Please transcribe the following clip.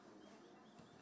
Azərbaycanda hər yerdə.